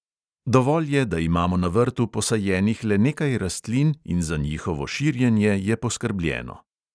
Dovolj je, da imamo na vrtu posajenih le nekaj rastlin in za njihovo širjenje je poskrbljeno.